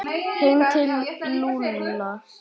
Heim til Lúlla!